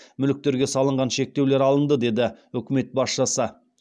мүліктерге салынған шектеулер алынды деді үкімет басшысы